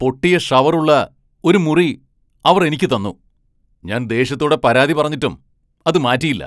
പൊട്ടിയ ഷവർ ഉള്ള ഒരു മുറി അവർ എനിക്ക് തന്നു, ഞാൻ ദേഷ്യത്തോടെ പരാതി പറഞ്ഞിട്ടും അത് മാറ്റിയില്ല.